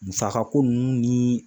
Musaka ko ninnu ni